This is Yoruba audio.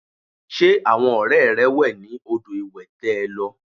Ṣé àwọn ọrẹ rẹ wẹ ní odò ìwẹ̀ tẹ lọ?